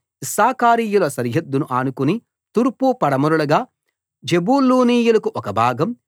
ఇశ్శాఖారీయుల సరిహద్దును ఆనుకుని తూర్పు పడమరలుగా జెబూలూనీయులకు ఒక భాగం